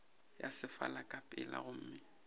ya sefala ka pela gomme